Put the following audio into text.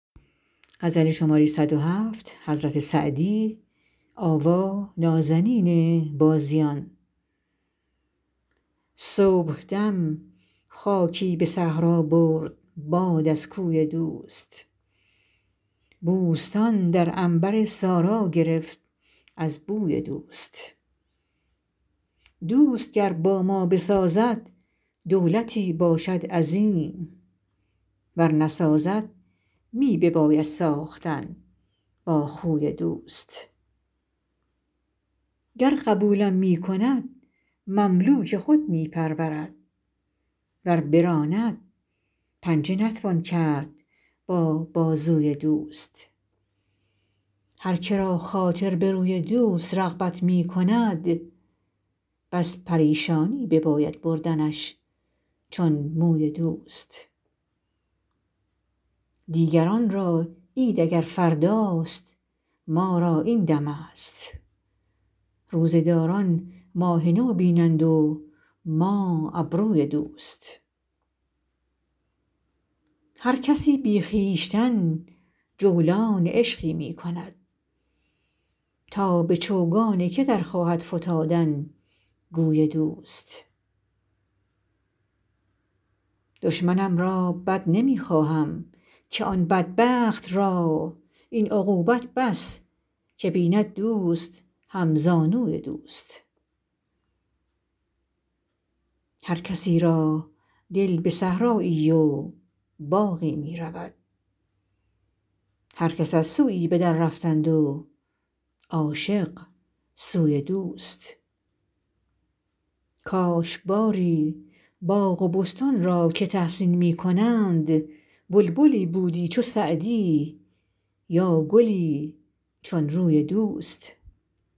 صبحدم خاکی به صحرا برد باد از کوی دوست بوستان در عنبر سارا گرفت از بوی دوست دوست گر با ما بسازد دولتی باشد عظیم ور نسازد می بباید ساختن با خوی دوست گر قبولم می کند مملوک خود می پرورد ور براند پنجه نتوان کرد با بازوی دوست هر که را خاطر به روی دوست رغبت می کند بس پریشانی بباید بردنش چون موی دوست دیگران را عید اگر فرداست ما را این دمست روزه داران ماه نو بینند و ما ابروی دوست هر کسی بی خویشتن جولان عشقی می کند تا به چوگان که در خواهد فتادن گوی دوست دشمنم را بد نمی خواهم که آن بدبخت را این عقوبت بس که بیند دوست همزانوی دوست هر کسی را دل به صحرایی و باغی می رود هر کس از سویی به دررفتند و عاشق سوی دوست کاش باری باغ و بستان را که تحسین می کنند بلبلی بودی چو سعدی یا گلی چون روی دوست